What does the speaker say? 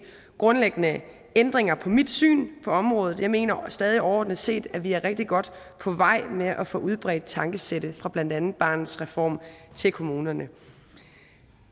grundlæggende ændringer i mit syn på området jeg mener stadig overordnet set at vi er rigtig godt på vej med at få udbredt tankesættet fra blandt andet barnets reform til kommunerne